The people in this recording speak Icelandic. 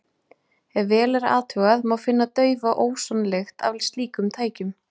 Ef vel er athugað, má finna daufa ósonlykt af slíkum tækjum.